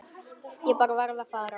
Ég bara varð að fara.